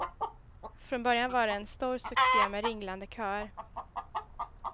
Från början var det en stor succé med ringlande köer.